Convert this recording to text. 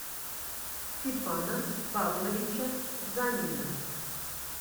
степана павловича занина